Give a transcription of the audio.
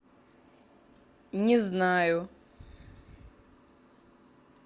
не знаю